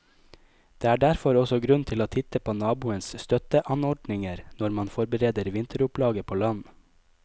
Det er derfor også grunn til å titte på naboens støtteanordninger når man forbereder vinteropplaget på land.